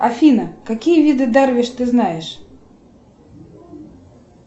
афина какие виды дарвиш ты знаешь